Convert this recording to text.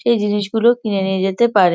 সে জিনিসগুলো কিনে নিয়ে যেতে পারে।